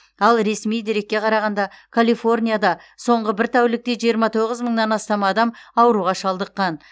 ал ресми дерекке қарағанда калифорнияда соңғы бір тәулікте жиырма тоғыз мыңнан астам адам ауруға шалдыққан